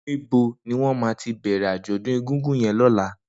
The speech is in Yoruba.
Nibó niwọn mà ti bẹrẹ ájọ̀dún égúngún yèn lọ̀lá?